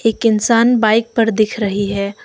एक इंसान बाइक पर दिख रही है।